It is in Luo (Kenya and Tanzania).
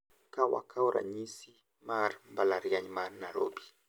Ka wakao ranyisi mar mbalariany ma Nairobi.